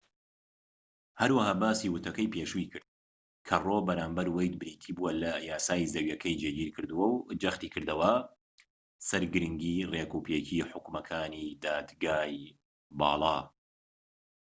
هەروەها باسی وتەکەی پێشووی کرد کە ڕۆو بەرامبەر وەید بریتی بووە لە یاسای زەویەکەی جێگیر کردووە و جەختی کردەوە سەر گرنگیی ڕێکوپێکیی حوکمەکانی دادگای باڵا